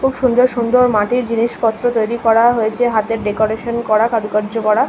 খুব সুন্দর সুন্দর মাটির জিনিসপত্র তৈরি করা হয়েছে হাতের ডেকোরেশন করা কারুকার্য করা --